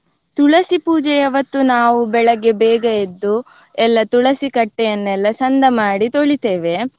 ತುಳಸಿ ಪೂಜೆಯವತ್ತು ನಾವು ಬೆಳಗ್ಗೆ ಬೇಗ ಎದ್ದು ಎಲ್ಲ ತುಳಸೀಕಟ್ಟೆಯನ್ನೆಲ್ಲ ಚಂದ ಮಾಡಿ ತೊಳಿತೇವೆ.